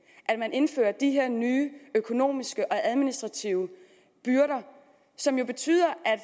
indfører de her nye økonomiske og administrative byrder som jo betyder at